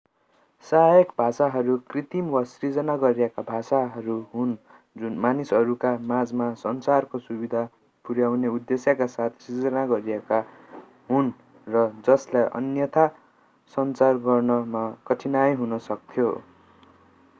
सहायक भाषाहरू कृत्रिम वा सिर्जना गरिएका भाषाहरू हुन् जुन मानिसहरूका माझमा सञ्चारको सुविधा पुर्‍याउने उद्देश्यका साथ सिर्जना गरिएका हुन् र जसलाई अन्यथा सञ्चार गर्नमा कठिनाइ हुन सक्थ्यो।